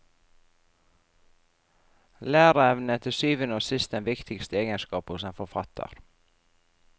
Læreevne er til syvende og sist den viktigste egenskapen hos en forfatter.